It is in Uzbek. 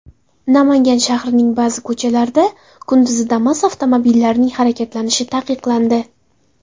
Namangan shahrining ba’zi ko‘chalarida kunduzi Damas avtomobillarining harakatlanishi taqiqlandi.